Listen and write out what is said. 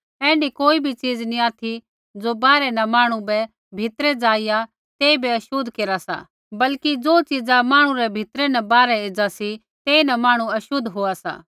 ऐण्ढी कोई च़ीज़ नी ऑथि ज़ो बाहरै न मांहणु भीतरै ज़ाइआ तेइबै छ़ोत लागली बल्कि ज़ो च़ीज़ा मांहणु रै भीतरै न बाहरै एज़ा सी तेइन मांहणु बै छ़ोत लागा सा